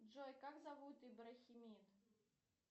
джой как зовут ибрахимит